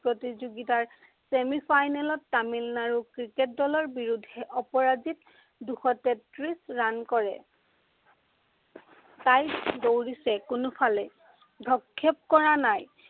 প্ৰতিযোগিতাৰ semi-final ত তামিলনাডুৰ ক্ৰিকেট দলৰ বিৰুদ্ধে অপৰাজিত দুশ তেত্ৰিশ run কৰে। দৌৰিছে কোনোফালে, ভ্ৰক্ষেপ কৰা নাই।